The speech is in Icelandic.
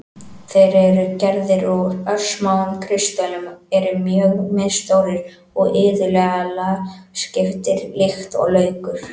Þeir eru gerðir úr örsmáum kristöllum, eru mjög misstórir og iðulega lagskiptir líkt og laukur.